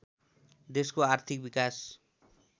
देशको आर्थिक विकास